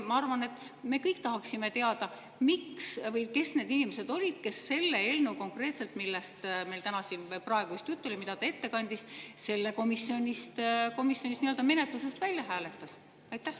Ma arvan, et me kõik tahaksime teada, miks või kes olid need inimesed, kes konkreetselt selle eelnõu, millest meil siin just praegu juttu oli ja mida ta ette kandis, komisjonis nii-öelda menetlusest välja hääletasid.